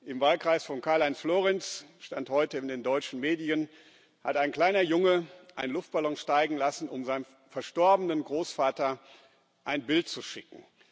Im Wahlkreis von Karl Heinz Florenz so stand es heute in den deutschen Medien hat ein kleiner Junge einen Luftballon steigen lassen, um seinem verstorbenen Großvater ein Bild zu schicken.